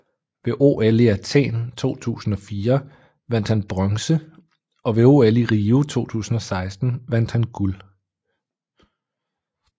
Ved OL i Athen 2004 vandt han bronze og ved OL i Rio 2016 vandt han guld